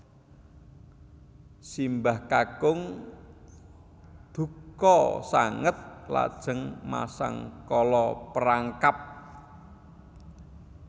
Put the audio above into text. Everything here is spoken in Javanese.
Simbah kakung dukha sanget lajeng masang kala perangkap